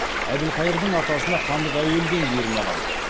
әбілқайырдың атасына хандық әуелден бұйырмаған